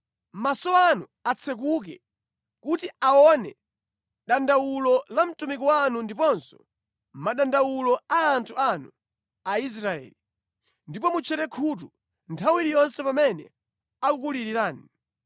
“Maso anu atsekuke kuti aone dandawulo la mtumiki wanu ndiponso madandawulo a anthu anu Aisraeli, ndipo mutchere khutu nthawi iliyonse pamene akulirirani.